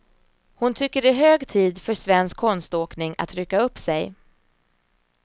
Hon tycker det är hög tid för svensk konståkning att rycka upp sig.